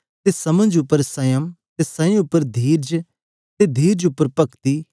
अते समझ उप्पर संयम अते संयम उप्पर धीरज अते धीरज उप्पर पक्ति